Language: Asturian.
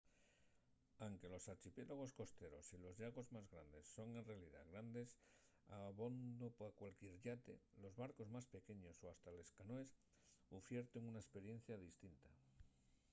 anque los archipiélagos costeros y los llagos más grandes son en realidá grandes abondo pa cualquier yate los barcos más pequeños o hasta les canoes ufierten una esperiencia distinta